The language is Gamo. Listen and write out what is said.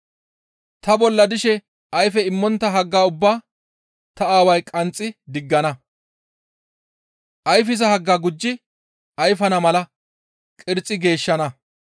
Ta bolla dishe ayfe immontta hagga ubbaa ta Aaway qanxxi diggana; ayfiza haggaa gujji ayfana mala qirxi geeshshana.